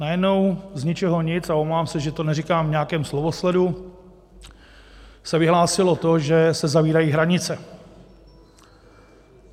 Najednou z ničeho nic, a omlouvám se, že to neříkám v nějakém slovosledu, se vyhlásilo to, že se zavírají hranice.